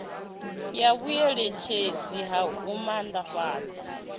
ya vhueletshedzi ha u maanḓafhadza